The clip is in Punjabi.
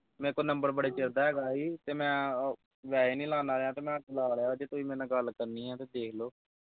ਮੇਰੇ ਤੋਂ ਨੰਬਰ ਬੜੇ ਚਿਰ ਦਾ ਹੈਗਾ ਈ ਤੇ ਮੈਂ ਅਹ ਵੈਸੇ ਹੀ ਨੀ ਲਾਉਂਦਾ ਰਿਹਾ ਮੈਂ ਲਾ ਲਿਆ ਅੱਜ ਤੁਸੀਂ ਮੇਰੇ ਨਾਲ ਗੱਲ ਕਰਨੀ ਆ ਤਾਂ ਦੇਖ ਲੋ।